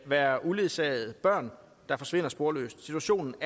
være uledsagede børn der forsvinder sporløst situationen